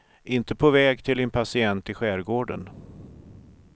Inte på väg till en patient i skärgården.